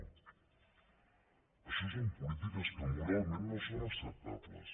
no això són polítiques que moralment no són acceptables